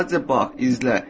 Sadəcə bax, izlə.